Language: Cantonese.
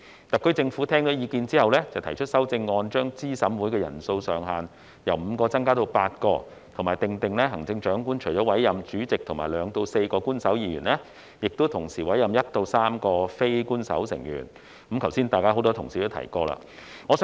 特區政府在聽取意見後，提出修正案，將資審會的人數上限由5人增加至8人，並訂定行政長官除了委任主席及2至4名官守成員，須同時委任1至3名非官守成員，剛才很多同事已提及此事。